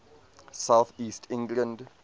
south east england